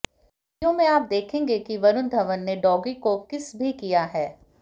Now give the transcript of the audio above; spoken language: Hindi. वीडियो में आप देखेंगे कि वरुण धवन ने डॉगी को किस भी किया है